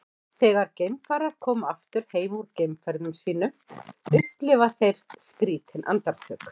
þegar geimfarar koma aftur heim úr geimferðum sínum upplifa þeir skrýtin andartök